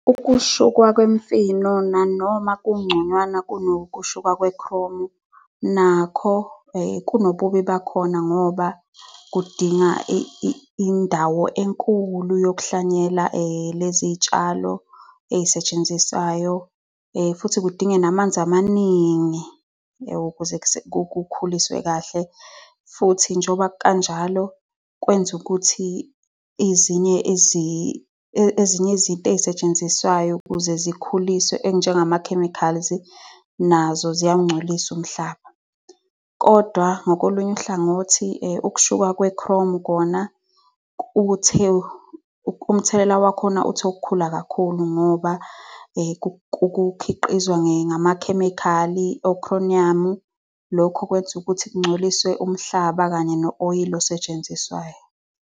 Nokushukwa kwemifino nanoma kungconywana nokushukwa kwe-chrome, nakho kunobubi bakhona ngoba kudinga indawo enkulu yokuhlwanyela lezi zitshalo ey'setshenziswayo futhi kudinge namanzi amaningi ukuze kukhulise kahle, futhi njoba kukanjalo, kwenza ukuthi ezinye izinto ey'setshenziswayo ukuze zikhuliswe, ezinjengama-chemicals, nazo ziyawungcolisa umhlaba. Kodwa ngakolunye uhlangothi ukushuka kwe-chrome kona, umthelela wakhona uthe okukhula kakhulu ngoba kukhiqizwa ngamakhemikhali o-chromium. Lokho kwenza ukuthi ingcoliswe umhlaba kanye no-oyila osetshenziswayo.